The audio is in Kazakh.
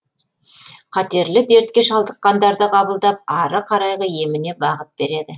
қатерлі дертке шалдыққандарды қабылдап ары қарайғы еміне бағыт береді